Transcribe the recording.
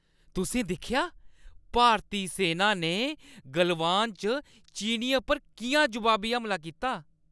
तुसें दिक्खेआ, भारती सैना ने गलवान च चीनियें पर किʼयां जवाबी हमला कीता?